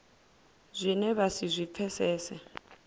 zwine vha si zwi pfesese